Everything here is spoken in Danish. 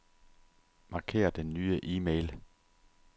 Marker den nye e-mail.